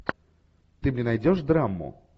ты мне найдешь драму